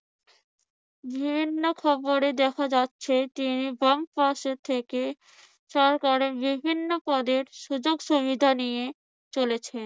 বিভিন্ন খবরে দেখা যাচ্ছে তিনি বাম পাশে থেকে সরকারের বিভিন্ন পদের সুযোগ-সুবিধা নিয়ে চলেছেন।